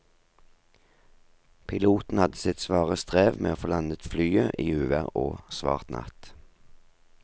Piloten hadde sitt svare strev med å få landet flyet i uvær og svart natt.